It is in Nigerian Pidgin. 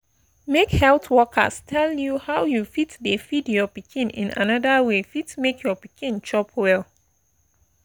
make health workers tell you how you fit dey feed your pikin in another way fit make your pikin chop well